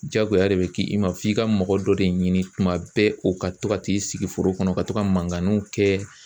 Jaagoya de bɛ k'i ma f'i ka mɔgɔ dɔ de ɲini kuma bɛɛ o ka to ka t'i sigi foro kɔnɔ ka to ka mankanniw kɛ.